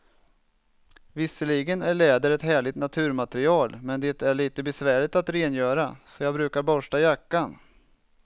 Visserligen är läder ett härligt naturmaterial, men det är lite besvärligt att rengöra, så jag brukar borsta jackan.